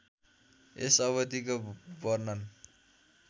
यस अवधिको वर्णन